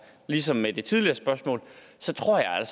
ligesom med det tidligere spørgsmål tror jeg